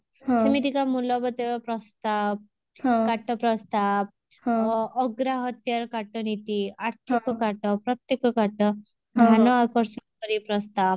ସେମିତିକା ମୂଲବତୟ ପ୍ରସ୍ତାବ କାଟ ପ୍ରସ୍ତାବ ଅ ଅଗ୍ରାହତ୍ୟାର କାଟ ନୀତି ଆର୍ଥକ କାଟ ପ୍ରତ୍ୟକ କାଟ ଧନ ଆକର୍ଷୀକର ପ୍ରସ୍ତାବ